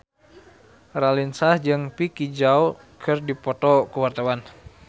Raline Shah jeung Vicki Zao keur dipoto ku wartawan